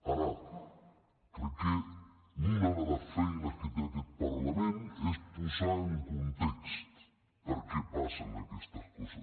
ara crec que una de les feines que té aquest parlament és posar en context per què passen aquestes coses